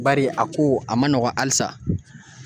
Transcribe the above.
Bari a ko a ma nɔgɔn halisa